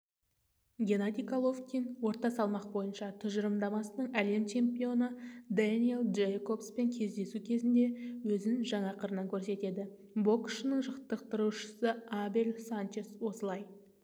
геннадий головкин орта салмақ бойынша тұжырымдамасының әлем чемпионы дэниэл джейкобспен кездесу кезінде өзін жаңа қырынан көрсетеді боксшының жаттықтырушысы абель санчес осылай